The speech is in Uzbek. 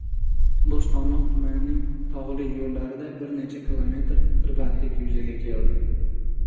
Bo‘stonliq tumanining tog‘li yo‘llarida bir necha kilometrlik tirbandlik yuzaga keldi.